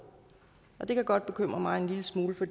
at det kan godt bekymre mig en lille smule for